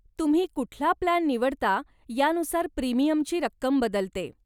तुम्ही कुठला प्लान निवडता यानुसार प्रीमियमची रक्कम बदलते.